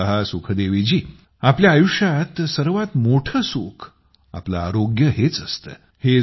हे पहा आपल्या आयुष्यात सर्वात मोठं सुख आपलं आरोग्य हेच असतं